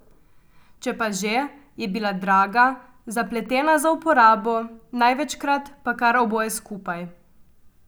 Če pa že, je bila draga, zapletena za uporabo, največkrat pa kar oboje skupaj.